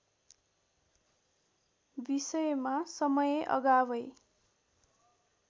विषयमा समय अगाबै